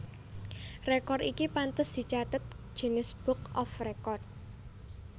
Rekor iki pantes dicathet Guinness Book of Record